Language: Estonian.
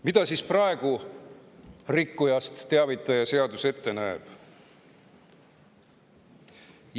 Mida siis praegu rikkujast teavitaja seadus ette näeb?